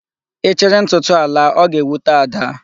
Ị chịrị ntụtụ a laa, ọ ga-ewute Ada.